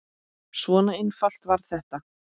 Svona einfalt var þetta.